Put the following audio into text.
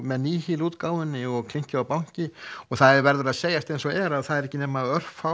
með Nýhil útgáfunni og klinki og banki og það verður að segjast eins og er að það eru ekki nema